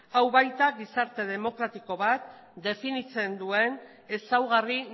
hau baita gizarte demokratiko bat definitzen duen ezaugarri